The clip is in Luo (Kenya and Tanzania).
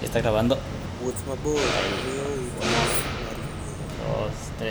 Wuoth mabor miyowa thuolo mar yueyo.